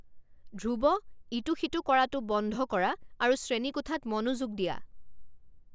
ধ্ৰুৱ, ইটো সিটো কৰাটো বন্ধ কৰা আৰু শ্ৰেণীকোঠাত মনোযোগ দিয়া!